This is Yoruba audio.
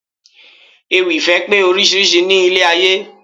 Ewì ìfẹ́ pé oríṣiríṣi ní ilé ayé